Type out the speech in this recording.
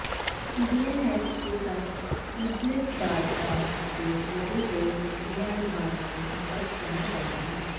ਈਡੀਐਨਐਸਪ੍ਰੀਸਾਈਜਲਿਸਟ dot com ਤੇ hotel ਦੇ ਵਿਕਰੀਆਂ ਵਿਭਾਗ ਨਾਲ ਸੰਪਰਕ ਕਰਨਾ ਚਾਹੀਦਾ ਹੈ